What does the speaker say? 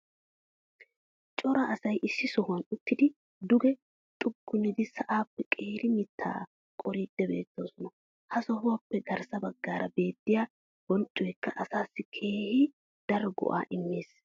cora asay issi sohuwan uttidi duge xuggunidi sa"aappe qeeri mitaa qoriidi beetoosona. ha sohuwaappe garssa bagaara beettiya bonccoykka asaassi keehi daro go'aa immees.